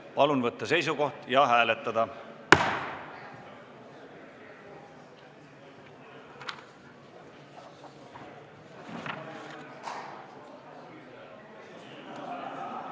Palun võtta seisukoht ja hääletada!